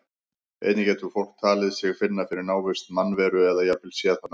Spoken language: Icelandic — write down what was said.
Einnig getur fólk talið sig finna fyrir návist mannveru eða jafnvel séð hana.